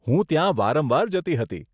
હું ત્યાં વારંવાર જતી હતી.